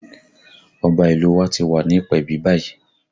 Ọba ìlú u wa ti wà ní ìpèbí báyìí